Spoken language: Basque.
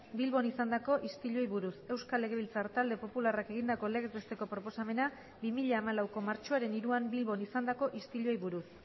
bilbon izandako istiluei buruz euskal legebiltzar talde popularrak egindako legez besteko proposamena bi mila hamalauko martxoaren hiruan bilbon izandako istiluei buruz